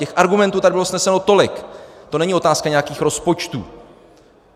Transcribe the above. Těch argumentů tady bylo sneseno tolik, to není otázka nějakých rozpočtů.